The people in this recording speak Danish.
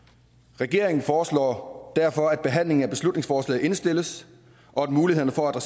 regeringen foreslår derfor at behandlingen af beslutningsforslaget indstilles og at mulighederne for at